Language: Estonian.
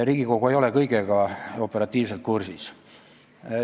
Riigikogu ei ole kõigega operatiivselt kursis.